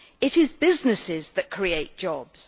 It is businesses that create jobs.